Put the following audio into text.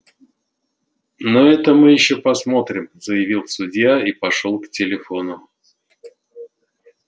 ну это мы ещё посмотрим заявил судья и пошёл к телефону